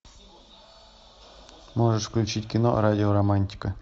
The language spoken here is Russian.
можешь включить кино радио романтика